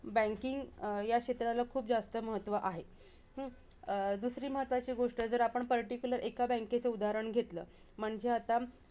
Banking या क्षेत्राला खूप महत्व आहे. अं? दुसरी महत्वाची गोष्टं जर आपण particular एका bank चं उदाहरण घेतलं, म्हणजे आता